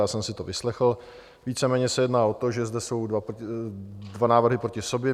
Já jsem si to vyslechl, víceméně se jedná o to, že zde jsou dva návrhy proti sobě.